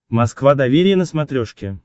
москва доверие на смотрешке